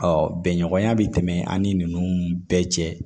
bɛnɲɔgɔnya bɛ tɛmɛ an ni ninnu bɛɛ cɛ